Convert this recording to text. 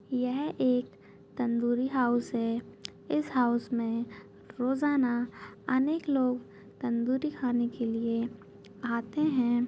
यह एक तंदूरी हाउस है इस हाउस मे रोजाना अनेक लोग तंदूरी खाने के लिए आते हैं।